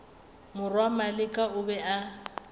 morwa maleka o be a